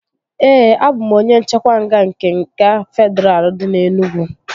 Ee, a bụ m onye nchekwa nga nke nga Fedraa dị na Enugwu